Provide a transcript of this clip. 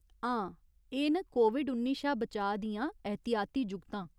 हां, एह् न कोविड उन्नी शा बचाऽ दियां एहतियाती जुगतां।